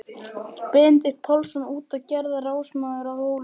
Benedikt Pálsson út og gerðist ráðsmaður að Hólum.